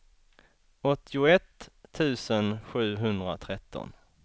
åttioett tusen sjuhundratretton